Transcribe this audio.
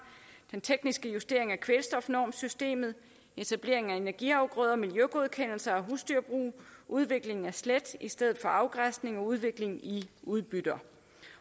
den tekniske justering af kvælstofnormsystemet etablering af energiafgrøder miljøgodkendelser af husdyrbrug udvikling af slæt i stedet for afgræsning og udvikling i udbytter